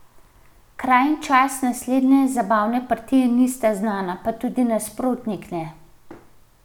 Kraj in čas naslednje zabavne partije nista znana, pa tudi nasprotnik ne.